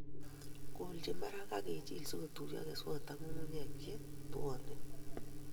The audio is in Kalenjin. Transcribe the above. Kolji barak akijil sikotuiyo keswot ak nyung'unyek che tuonen